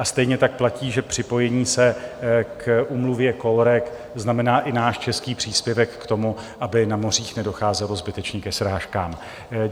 A stejně tak platí, že připojení se k Úmluvě COLREG znamená i náš český příspěvek k tomu, aby na mořích nedocházelo zbytečně ke srážkám.